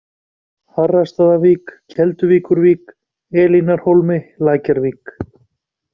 Harrastaðavík, Kelduvíkurvík, Elínarhólmi, Lækjarvík